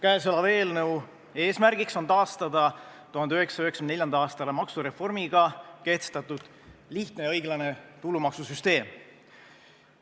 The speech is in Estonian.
Käesoleva eelnõu eesmärk on taastada 1994. aasta maksureformiga kehtestatud lihtne ja õiglane tulumaksusüsteem.